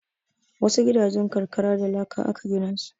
Wasu gidajen karkara da laka aka gina su.